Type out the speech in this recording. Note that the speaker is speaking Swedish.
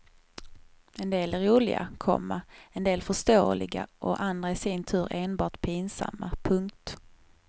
En del är roliga, komma en del förståeliga och andra i sin tur enbart pinsamma. punkt